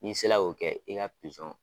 Ni sela k'o kɛ i ka pizɔn